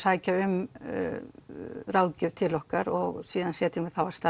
sækja um ráðgjöf til okkar og síðan setur